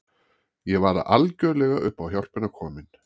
Ég var algjörlega upp á hjálpina komin.